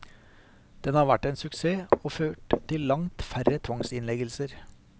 Den har vært en suksess og ført til langt færre tvangsinnleggelser.